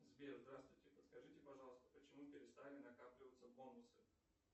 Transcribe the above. сбер здравствуйте подскажите пожалуйста почему перестали накапливаться бонусы